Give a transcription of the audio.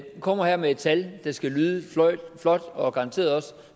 kommer her med et tal der skal lyde flot og garanteret også